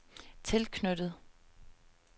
tilknyttet